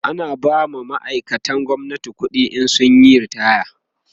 ana ba ma'aikatan gwamnati ƙuɗi in sun Yi ritaya